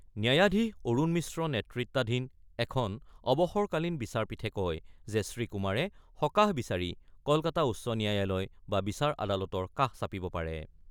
ন্যায়াধীশ অৰুণ মিশ্ৰ নেতৃত্বাধীন এখন অৱসৰকালীন বিচাৰপীঠে কয় যে, শ্ৰীকুমাৰে সকাহ বিচাৰি কলকাতা উচ্চ ন্যায়ালয় বা বিচাৰ আদালতৰ কাষ চাপিব পাৰে।